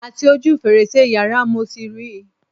Àti ojú fèrèsé yàrá mo ti ri